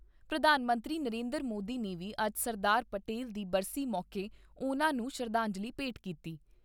ਪ੍ਰਧਾਨ ਮੰਤਰੀ ਨਰਿੰਦਰ ਮੋਦੀ ਨੇ ਵੀ ਅੱਜ ਸਰਦਾਰ ਪਟੇਲ ਦੀ ਬਰਸੀ ਮੌਕੇ ਉਨ੍ਹਾਂ ਨੂੰ ਸ਼ਰਧਾਂਜਲੀ ਭੇਟ ਕੀਤੀ।